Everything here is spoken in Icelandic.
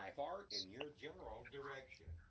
Séra Örn er fallinn frá.